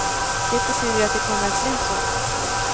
Det betyder att det kommer att bli så.